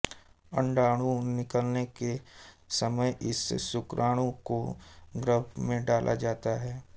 अंडाणु निकलने के समय इस शुक्राणु को गर्भ में डाला जाता है